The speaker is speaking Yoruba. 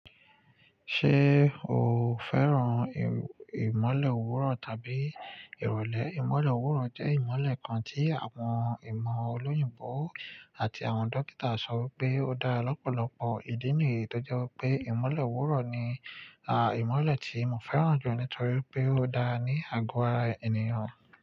Ṣé o fẹ́ràn ìmọ̀le òwúrọ̀ tàbí ìrọ̀lẹ́? Ìmọ̀le òwúrọ̀ jẹ́ ìmọ̀le kan tí àwọn ìmọ̀ ọlọ́yinbọ̀ àti àwọn dókítà sọ wí pé ó dára lọ́pọ̀lọpọ̀. Ìdí nìyí tó jẹ́ wípé ìmọ̀le òwúrọ̀ ni ìmọ̀le tí mo fẹ́ràn jù nítorí pé ó dára ní àgọ́ ara ènìyàn.